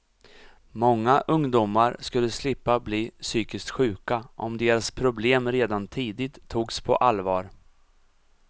Många ungdomar skulle slippa bli psykiskt sjuka om deras problem redan tidigt togs på allvar.